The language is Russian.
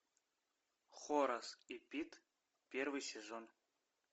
хорас и пит первый сезон